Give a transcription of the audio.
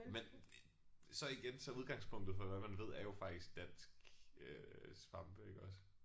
Men så igen så er udgangspunktet for hvad man ved er jo faktisk dansk øh svampe iggås